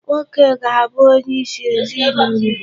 Nwoke ga-abụ onye isi ezinụlọ.